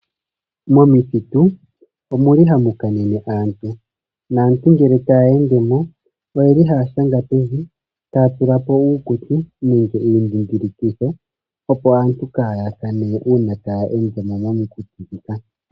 Momithitu omuli hamu kanene aantu, naantu ngele taye ende mo oyeli haa shanga pevi taya tula po uukuti nenge iindhindhilikitho opo aantu kaaya kane uuna taye ende mo momithitu ndhika.